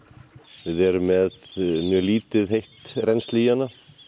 við erum með mjög lítið heitt rennsli í hana